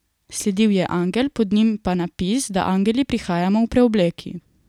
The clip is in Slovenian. Sledil je angel, pod njim pa napis, da angeli prihajamo v preobleki.